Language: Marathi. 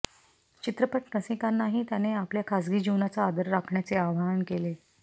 चित्रपट रसिकांनाही त्याने आपल्या खासगी जीवनाचा आदर राखण्याचे आवाहन केले